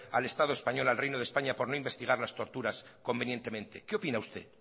al estado español al reino de españa por no investigar las torturas convenientemente qué opina usted